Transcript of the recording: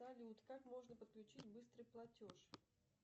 салют как можно подключить быстрый платеж